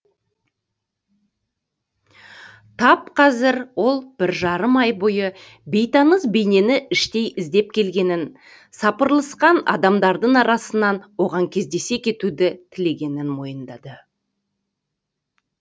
тап қазір ол бір жарым ай бойы бейтаныс бейнені іштей іздеп келгенін сапырылысқан адамдардың арасынан оған кездесе кетуді тілегенін мойындады